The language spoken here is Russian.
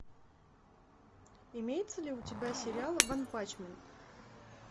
имеется ли у тебя сериал ванпачмен